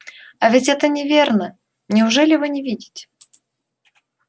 а ведь это неверно неужели вы не видите